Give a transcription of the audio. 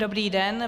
Dobrý den.